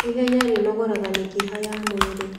Ihenya rĩnogoraga mĩkiha ya mwĩrĩ